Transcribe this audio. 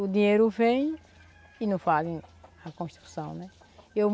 O dinheiro vem e não fazem a construção, né. Eu